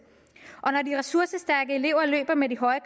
og når de ressourcestærke elever løber med de høje